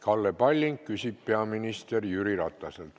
Kalle Palling küsib peaminister Jüri Rataselt.